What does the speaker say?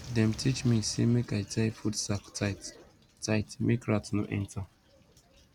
dem teach me say make i tie food sack tight tight make rat no enter